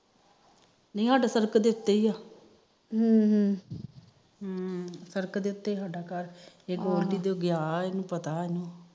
ਨੀ ਸਾਡਾ ਸੜਕ ਦੇ ਉਤੇ ਈ ਆ ਹਮ ਹਮ ਸੜਕ ਦੇ ਉਤੇ ਸਾਡਾ ਘਰ ਇਹ ਗੋਲਡੀ ਤਾ ਗਿਆ ਇਹਨੂੰ ਪਤਾ ਸਾਡਾ ਘਰ